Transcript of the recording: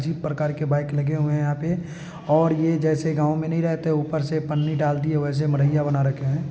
जिस प्रकार के बाइक लगे हुए हैं यहा पे और भी जैसे गाँव में नहीं रहते है ऊपर से पानी डाल दिए हैं वैसे मरिंया बना रखे हैं।